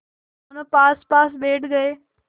दोेनों पासपास बैठ गए